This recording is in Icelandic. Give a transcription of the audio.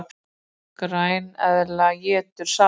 Græneðla étur salat!